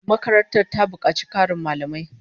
Makarantar ta bukaci Karin mallamai